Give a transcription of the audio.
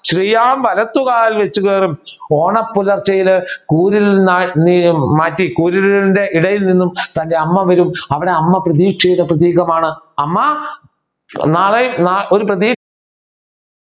ശ്രീയാവലതുകാൽ ഓണ പുലർച്ചയിൽ കൂരിരുൾ നിന്നാണ് മാറ്റി കുരിരുളിന്റെ ഇടയിൽ നിന്നും തന്റെ അമ്മ വരും അവിടെ അമ്മ പ്രതീക്ഷയുടെ പ്രതീകമാണ് അമ്മ